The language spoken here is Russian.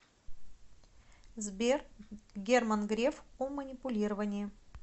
сбер герман греф о манипулировании